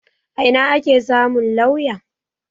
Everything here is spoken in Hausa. A ina ake samu lauya?